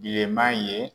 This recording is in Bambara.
Bilenman ye